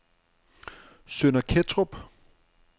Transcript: Sønder Kettrup